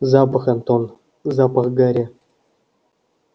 запах антон запах гари